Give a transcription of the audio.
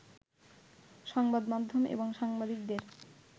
সংবাদ মাধ্যম এবং সাংবাদিকদের